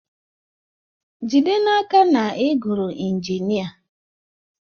Jide n'aka na ị gụrụ injinia